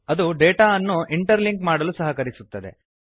ಅದು ಡೇಟಾ ಅನ್ನು interlink ಮಾಡಲು ಸಹಕರಿಸುತ್ತದೆ